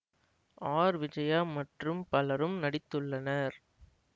R Vijaya மற்றும் பலரும் நடித்துள்ளனர்